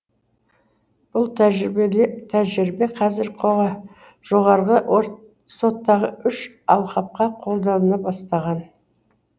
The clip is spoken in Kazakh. бұл тәжірибе қазір жоғарғы соттағы үш алқапқа қолданылып бастаған